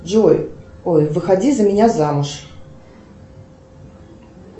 джой ой выходи за меня замуж